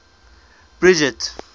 bridget